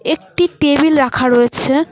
একটি টেবিল রাখা রয়েছে।